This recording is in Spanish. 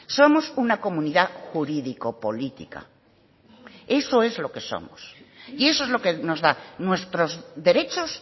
somos una comunidad jurídico política eso es lo que somos y eso es lo que nos da nuestros derechos